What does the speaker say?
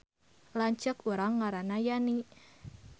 Lanceuk urang ngaranna Yani